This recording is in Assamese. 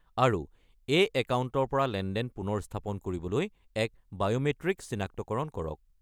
আৰু এই একাউণ্টৰ পৰা লেনদেন পুনৰ স্থাপন কৰিবলৈ এক বায়’মেট্ৰিক চিনাক্তকৰণ কৰক।